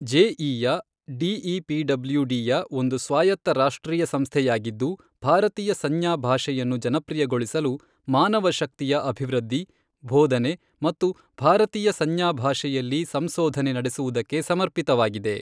ಜೆಇಯ ಡಿಇಪಿಡಬ್ಲ್ಯೂಡಿಯ ಒಂದು ಸ್ವಾಯತ್ತ ರಾಷ್ಟ್ರೀಯ ಸಂಸ್ಥೆಯಾಗಿದ್ದು, ಭಾರತೀಯ ಸಂಜ್ಞಾ ಭಾಷೆಯನ್ನು ಜನಪ್ರಿಯಗೊಳಿಸಲು ಮಾನವಶಕ್ತಿಯ ಅಭಿವೃದ್ಧಿ, ಬೋಧನೆ ಮತ್ತು ಭಾರತೀಯ ಸಂಜ್ಞಾ ಭಾಷೆಯಲ್ಲಿ ಸಂಸೋಧನೆ ನಡೆಸುವುದಕ್ಕೆ ಸಮರ್ಪಿತವಾಗಿದೆ.